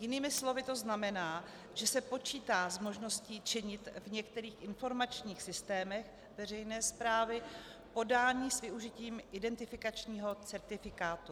Jinými slovy to znamená, že se počítá s možností činit v některých informačních systémech veřejné správy podání s využitím identifikačního certifikátu.